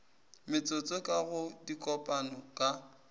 metsotso ka go dikopano ka